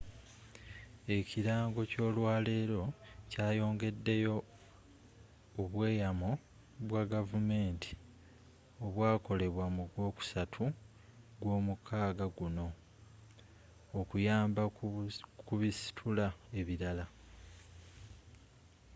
ekirango ky'olwaleero kyayongedeyo obweyamo bwa gavumenti obwakolebwa mu gwokusatu gw'omwaka gunno okuyamba ku bisitula ebirala